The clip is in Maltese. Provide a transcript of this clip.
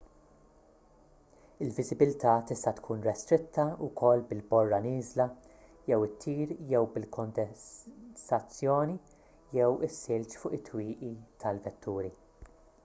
il-viżibilità tista' tkun restritta wkoll bil-borra nieżla jew ittir jew bil-kondensazzjoni jew is-silġ fuq it-twieqi tal-vetturi